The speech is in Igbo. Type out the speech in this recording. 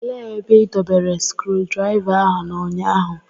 Elee ebe ị dobere skrudraịva ahụ n'ụnyaahụ?